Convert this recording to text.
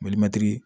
Malimɛtiri